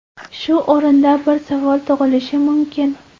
Shu o‘rinda bir savol tug‘ilishi mumkin.